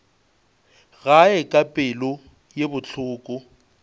gae ka pelo ye bohloko